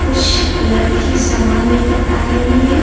कुछ लड़की सामान लेकर आ रही है।